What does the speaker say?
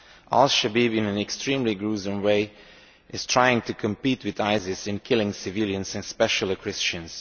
Al Shabaab, in an extremely gruesome way, is trying to compete with ISIS in killing civilians and especially Christians.